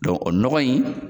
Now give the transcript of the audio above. Dɔn nɔgɔ in